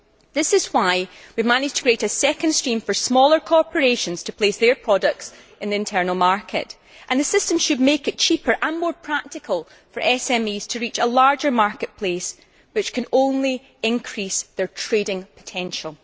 This is why we have managed to create a second stream for smaller corporations to place their products on the internal market and the system should make it cheaper and more practical for SMEs to reach a larger market place which can only increase their trading potential.